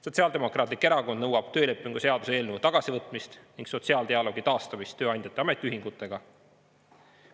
Sotsiaaldemokraatlik Erakond nõuab töölepingu seaduse eelnõu tagasivõtmist ning sotsiaaldialoogi taastamist tööandjate ja ametiühingutega.